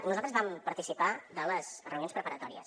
nosaltres vam participar de les reunions preparatòries